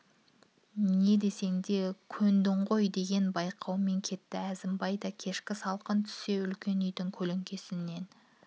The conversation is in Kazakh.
не десең де көндің ғой деген байлаумен кетті әзімбай да кешкі салқын түсе үлкен үйдің көлеңкесінен